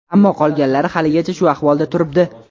Ammo qolganlari haligacha shu ahvolda turibdi.